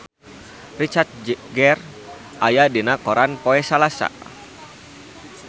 Richard Gere aya dina koran poe Salasa